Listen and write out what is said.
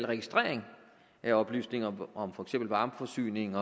registrering af oplysninger om for eksempel varmeforsyning